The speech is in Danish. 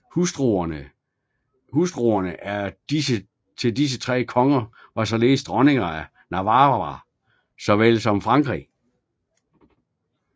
Hustruerne til disse tre konger var således dronninger af Navarra såvel som Frankrig